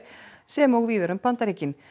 sem og víðar um Bandaríkin